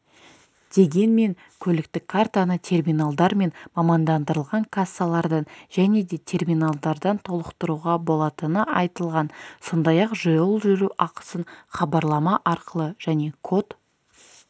дегенмен көліктік картаны терминалдар мен мамандандырылған кассалардан жне де терминалдардан толықтыруға болатыны айтылған сондай-ақ жол жүру ақысын хабарлама арқылы және код